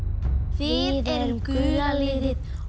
við erum gula liðið og